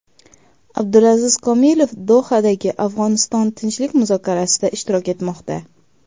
Abdulaziz Komilov Dohadagi Afg‘oniston tinchlik muzokarasida ishtirok etmoqda.